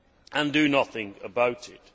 and do nothing about it.